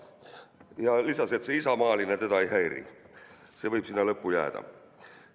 Ta lisas, et see "isamaaline" teda ei häiri, see võib sinna lõppu jääda.